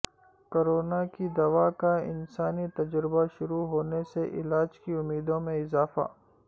corona کی دوا کا انسانی تجربہ شروع ہونے سے علاج کی امیدوں میں اضافہ